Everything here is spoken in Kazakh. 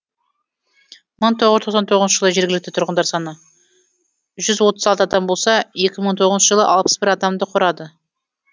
мың тоғыз жүз тоқсан тоғызыншы жылы жергілікті тұрғындар саны жүз отыз алты адам болса екі мың тоғызыншы жылы алпыс бір адамды құрады